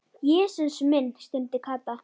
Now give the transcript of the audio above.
Jesús minn stundi Kata.